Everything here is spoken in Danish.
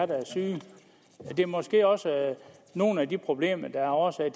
der er syge det er måske også nogle af de problemer der er årsag